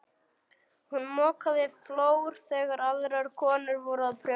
Hún mokaði flór þegar aðrar konur voru að prjóna.